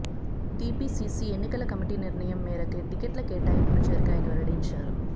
TPCC ఎన్నికల committee నిర్ణయం మేరకే టికెట్ల కేటాయింపులు జరిగాయని వెల్లడించారు